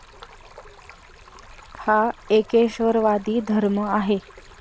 हा एकेश्वरवादी धर्म आहे.